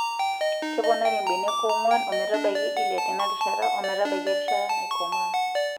Keponari mbenek ong'wan ometabaiki ile tenarishata ometabaiki erishata naikomaa.